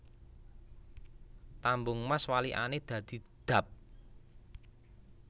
Tambung Mas walikane dadi Dab